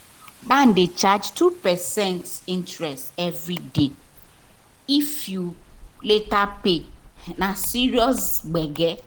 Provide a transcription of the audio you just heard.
bank dey charge 2 percent interest every day if you late pay — na serious gbege.